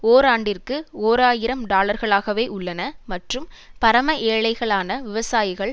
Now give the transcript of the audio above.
ஓராண்டிற்கு ஓர் ஆயிரம் டாலர்களாகவே உள்ளன மற்றும் பரம ஏழைகளான விவசாயிகள்